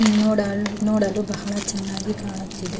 Nodal ನೋಡಲು ಬಹಳ ಚೆನ್ನಾಗಿ ಕಾಣುತ್ತಿದೆ.